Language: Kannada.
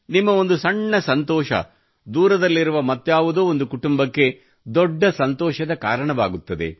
ನಿಮ್ಮ ಒಂದು ಸಣ್ಣ ಸಂತೋಷ ದೂರದಲ್ಲಿರುವ ಮತ್ತಾವುದೋ ಒಂದು ಕುಟುಂಬಕ್ಕೆ ದೊಡ್ಡ ಸಂತೋಷದ ಕಾರಣವಾಗುತ್ತದೆ